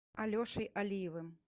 алешей алиевым